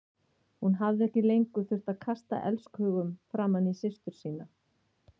Hún hafði ekki lengur þurft að kasta elskhugum framan í systur sína.